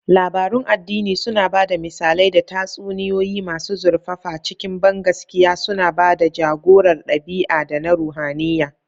Labarun addini suna ba da misalai da tatsuniyoyi masu zurfafa cikin bangaskiya, suna ba da ja-gorar ɗabi'a da na ruhaniya.